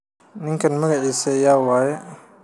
Ninkan magacisa yawaye.